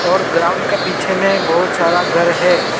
और ग्राउंड का पीछे में बहुत सारा घर है।